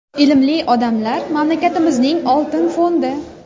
Ilmli odamlar mamlakatimizning oltin fondi.